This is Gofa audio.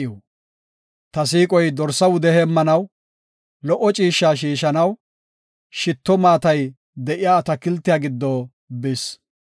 Ta siiqoy dorsa wude heemmanaw, lo77o ciishsha shiishanaw, shitto maatay de7iya atakiltiya giddo bis.